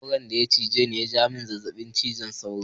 Sauron daya cije ni yaja mini zazzabin ciwon sauro.